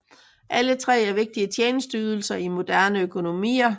Alle tre er vigtige tjenesteydelser i moderne økonomier